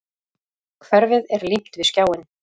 Hverfið er límt við skjáinn.